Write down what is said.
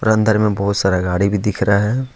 अंदर में बहुत सारा गाड़ी भी दिख रहा है।